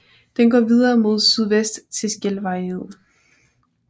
Den går videre mod sydvest til Skjelvareid